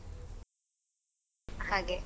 ಹಾಗೆ.